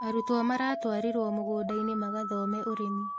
Arũtũo maratwarirwo mũgũnda-inĩ magathome ũrĩmi